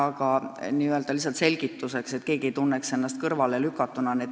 Märgin seda lihtsalt selgituseks, et keegi ei tunneks ennast kõrvalelükatuna.